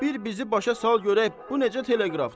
Bir bizi başa sal görək bu necə teleqrafdır.